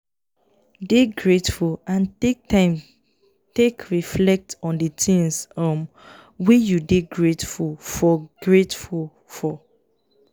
dey grateful and take time take reflect on di things um wey you dey greatful for greatful for